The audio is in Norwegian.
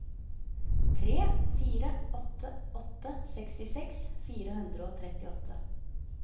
tre fire åtte åtte sekstiseks fire hundre og trettiåtte